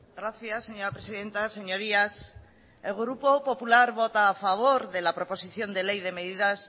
gracias señora presidenta señorías el grupo popular vota a favor de la proposición de ley de medidas